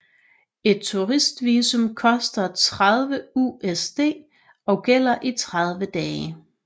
Et turist visum koster 30 USD og gælder i 30 dage